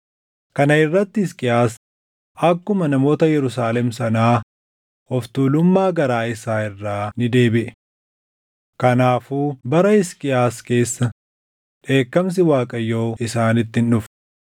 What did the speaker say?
Kana irratti Hisqiyaas akkuma namoota Yerusaalem sanaa of tuulummaa garaa isaa irraa ni deebiʼe; kanaafuu bara Hisqiyaas keessa dheekkamsi Waaqayyoo isaanitti hin dhufne.